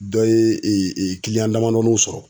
Dɔ ye damadɔninw sɔrɔ.